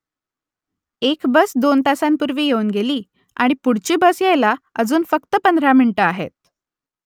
एक बस दोन तासांपूर्वी येऊन गेली आणि पुढची बस यायला अजून फक्त पंधरा मिनिटं आहेत